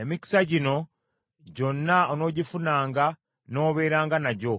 Emikisa gino gyonna onoogifunanga n’obeeranga nagyo,